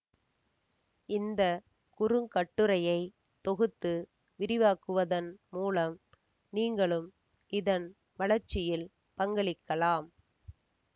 இந்த குறுங்கட்டுரையை தொகுத்து விரிவாக்குவதன் மூலம் நீங்களும் இதன் வளர்ச்சியில் பங்களிக்கலாம்